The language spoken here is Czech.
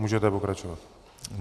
Můžete pokračovat.